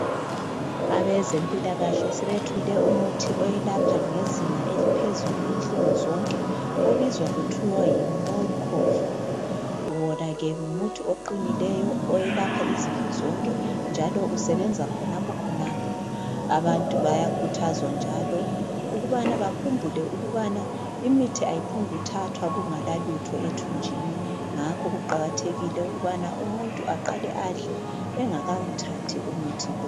Abezempilakahle sebethole umuthi oyelapha ngezinga eliphezulu inhlungu zonke, obizwa kuthiwa "MOLCOVIR". Wona ke ngumuthi oqinileyo oyelapha izifo zonke njalo usebenza khonapho khonapho, abantu bayakhuthazwa njalo ukubana bakhumbule ukubana imithi ayiphongu thathwa kungela lutho ethunjini, ngakho kuqakathekile ukubana umuntu aqale adle engakawuthathi umuthi lo.